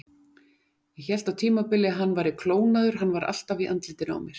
Ég hélt á tímabili að hann væri klónaður, hann var alltaf í andlitinu á mér.